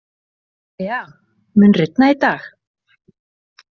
Tea, mun rigna í dag?